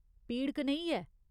पीड़ कनेही ऐ ?